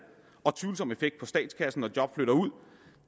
og tvivlsom effekt på statskassen når job flytter ud